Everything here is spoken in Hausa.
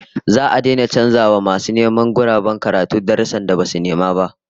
Za'a daina canza wa masu neman guraben karatu darussan da basu nema ba